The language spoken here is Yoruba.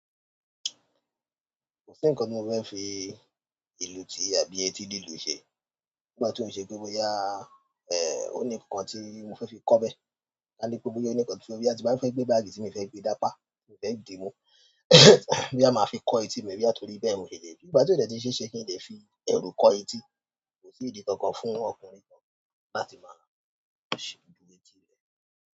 Kò sí ǹkan tí mo fẹ́ fi ìlù ti àbí etí lílù ṣe. Nígbà tí o ṣe boya oni nkán ti mo fẹ fi kọ bẹ ka ní pé boyá ǹkan tí mo fẹ́, tí bá ti fẹ́ gbé báàgì tí mi o fẹ́ gbe sápa, mi o fẹ́ dìímú, bí a máa fi kọ́ etí mi bí àti torí bẹ́ẹ̀ mo lè dé. Nígbà tí ó dẹ̀ ti ṣéṣe kí n lè fi ẹrù kọ́ etí, kò sí ìdí tó kan fún ọkùnrin kan láti máa ṣe dúró etí rẹ̀.